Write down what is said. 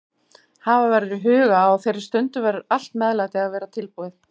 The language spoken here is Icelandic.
Hafa verður í huga að á þeirri stundu verður allt meðlæti að vera tilbúið.